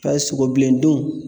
Payi sogo bilendun